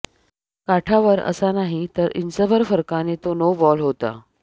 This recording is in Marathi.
काठावर असा नाही तर इंचभर फरकाने तो नोबॉल होता